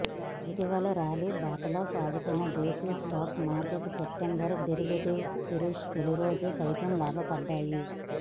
ఇటీవల ర్యాలీ బాటలో సాగుతున్న దేశీ స్టాక్ మార్కెట్లు సెప్టెంబర్ డెరివేటివ్ సిరీస్ తొలి రోజు సైతం లాభపడ్డాయి